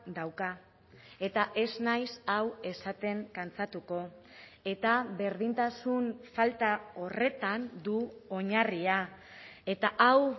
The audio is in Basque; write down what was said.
dauka eta ez naiz hau esaten kantsatuko eta berdintasun falta horretan du oinarria eta hau